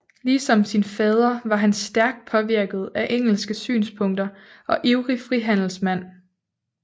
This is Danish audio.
Ligesom sin fader var han stærkt påvirket af engelske synspunkter og ivrig frihandelsmand